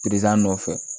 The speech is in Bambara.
nɔfɛ